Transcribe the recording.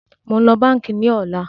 Mo ń lọ báńkì ní ọ̀la